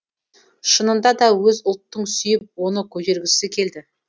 шынында да өз ұлттың сүйіп оны көтергісі келді